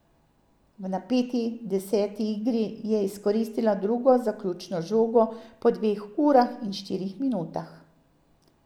V napeti deseti igri je izkoristila drugo zaključno žogo po dveh urah in štirih minutah.